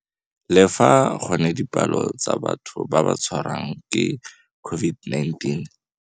Le fa gone dipalo tsa batho ba ba tshwarwang ke COVID-19.